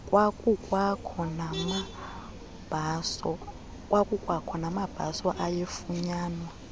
kwakukwakho namabhaso ayefunyanwa